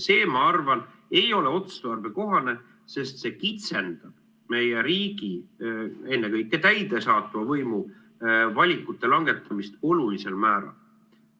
See, ma arvan, ei ole otstarbekohane, sest see kitsendab meie riigi, ennekõike täidesaatva võimu valikute langetamist olulisel määral.